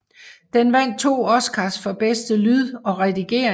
Den vandt 2 Oscars for bedste lyd og redigering